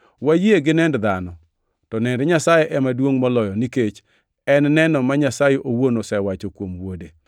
Wayie gi nend dhano, to nend Nyasaye ema duongʼ moloyo nikech en neno ma Nyasaye owuon osewacho kuom Wuode.